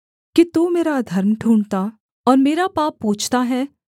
कि तू मेरा अधर्म ढूँढ़ता और मेरा पाप पूछता है